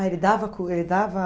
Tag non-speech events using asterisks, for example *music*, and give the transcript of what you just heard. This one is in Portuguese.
Ah, ele dava *unintelligible* ele dava?